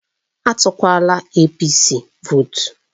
Etukwala APC votu